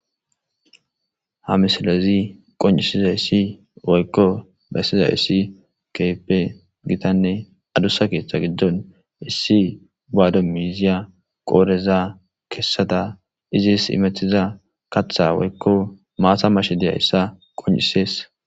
Ha misilezi bessizaysi woyko qoncisizaysi keehippe gitanne adusa keetha gidon issí guwado miiziyaqodheza keesada bees immetida kathaza woyko maataza mashed daws.